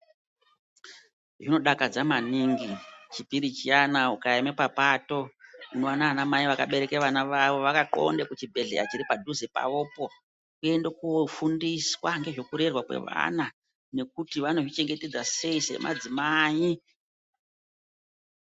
Zvinodakadza maningi, chipiri chiyana ungaema papato, unoona wana wamai wakabereka wana wawo wakakhlonde kuchibhedhleya chiri padhuze pawopo, kuende koofundiswa ngezvekurerwa kwawano nekuti wano zvichengetedza sei semadzimai.